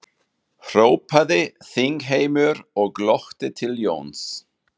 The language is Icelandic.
hrópaði þingheimur og glotti til Jóns.